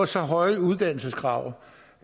så høje uddannelseskrav